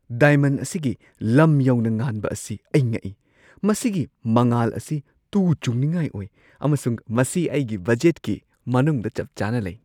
Diamond ꯑꯁꯤꯒꯤ ꯂꯝ ꯌꯧꯅ ꯉꯥꯟꯕ ꯑꯁꯤ ꯑꯩ ꯉꯛꯏ! ꯃꯁꯤꯒꯤ ꯃꯉꯥꯜ ꯑꯁꯤ ꯇꯨ-ꯆꯨꯡꯅꯤꯡꯉꯥꯏ ꯑꯣꯏ, ꯑꯃꯁꯨꯡ ꯃꯁꯤ ꯑꯩꯒꯤ ꯕꯖꯦꯠꯀꯤ ꯃꯅꯨꯡꯗ ꯆꯞ-ꯆꯥꯅ ꯂꯩ꯫